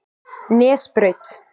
Nesbraut